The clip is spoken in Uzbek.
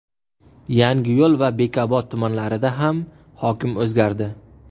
Yangiyo‘l va Bekobod tumanlarida ham hokim o‘zgardi.